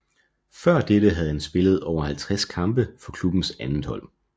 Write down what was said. Før dette havde han spillet over 50 kampe for klubbens andethold